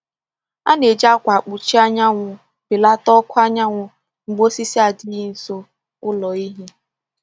A na-eji akwa mkpuchi anyanwụ belata ọkụ anyanwụ mgbe osisi adịghị nso ụlọ ehi.